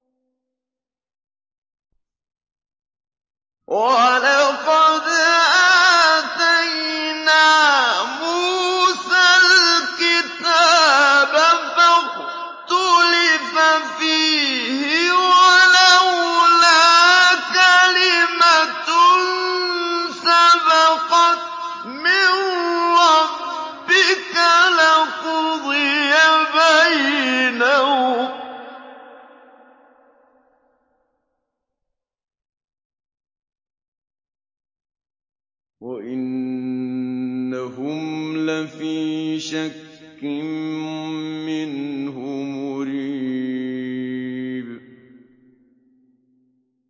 وَلَقَدْ آتَيْنَا مُوسَى الْكِتَابَ فَاخْتُلِفَ فِيهِ ۚ وَلَوْلَا كَلِمَةٌ سَبَقَتْ مِن رَّبِّكَ لَقُضِيَ بَيْنَهُمْ ۚ وَإِنَّهُمْ لَفِي شَكٍّ مِّنْهُ مُرِيبٍ